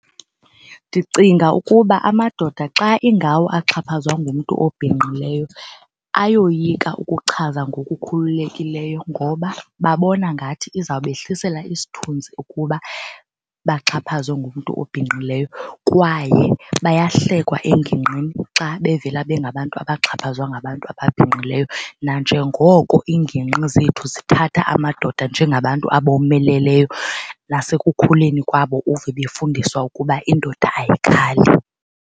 Ndicinga ukuba amadoda xa ingawo axhaphazwa ngumntu obhinqileyo ayoyika ukuchaza ngokukhululekileyo ngoba babona ngathi izawubehlisela isithunzi ukuba baxhaphazwe ngumntu obhinqileyo kwaye bayahlekwa engingqini xa bevela bengabantu abaxhaphazwa ngabantu ababhinqileyo. Nanjengoko iingingqi zethu zithatha amadoda njengabantu abomeleleyo nasekukhuleni kwabo uve befundiswa ukuba indoda ayikhali.